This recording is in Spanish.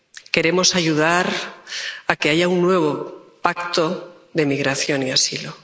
Queremos ayudar a que haya un nuevo pacto de migración y asilo.